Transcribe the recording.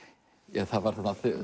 það var